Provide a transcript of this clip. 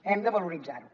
hem de valoritzar ho